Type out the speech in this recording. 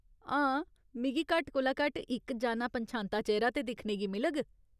हां, मिगी घट्ट कोला घट्ट इक जाना पन्छांता चेह्‌रा ते दिक्खने गी मिलग।